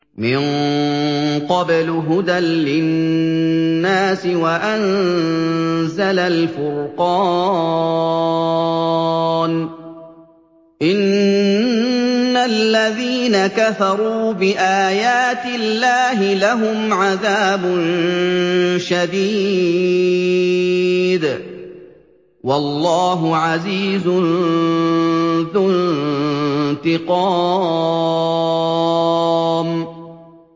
مِن قَبْلُ هُدًى لِّلنَّاسِ وَأَنزَلَ الْفُرْقَانَ ۗ إِنَّ الَّذِينَ كَفَرُوا بِآيَاتِ اللَّهِ لَهُمْ عَذَابٌ شَدِيدٌ ۗ وَاللَّهُ عَزِيزٌ ذُو انتِقَامٍ